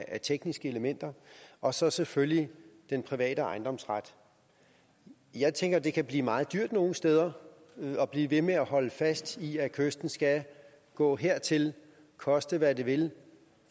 af tekniske elementer og så selvfølgelig den private ejendomsret jeg tænker at det kan blive meget dyrt nogle steder at blive ved med at holde fast i at kysten skal gå hertil koste hvad det vil